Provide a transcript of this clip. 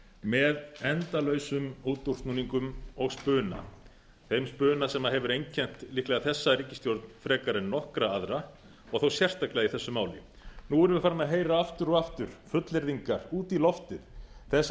með endalausum útúrsnúningum og spuna þeim spuna sem hefur einkennt líklega þessa ríkisstjórn frekar en nokkra aðra og þó sérstaklega í þessu máli nú erum við farin að heyra aftur og aftur fullyrðingar út í loftið þess